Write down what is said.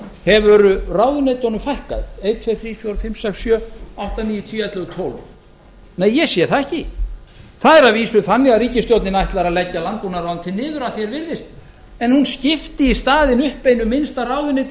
hefur ráðherrunum fækkað einn tveir þrír fjórir fimm sex sjö átta níu tíu ellefu tólf nei ekki sé ég það það er að vísu þannig að ríkisstjórnin ætlar að leggja landbúnaðarráðuneytið niður að því er virðist en hún skipti í staðinn upp einu minnsta ráðuneyti